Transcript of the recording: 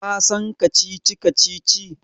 Ka san kacici-kacici?